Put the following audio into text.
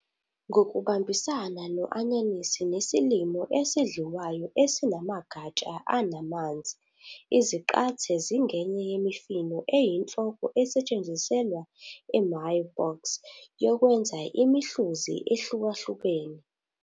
Ngokubambisana no- anyanisi nesilimo esidliwayo esinamagatsha anamanzi, izaqathe zingenye yemifino eyinhloko esetshenziselwa i- "mirepoix" yokwenza imihluzi ehlukahlukene.